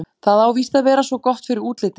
Það á víst að vera svo gott fyrir útlitið.